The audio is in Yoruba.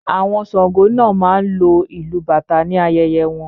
Àwọn Sàngó náà máa ń lo ìlu bàtà ní ayẹyẹ wọn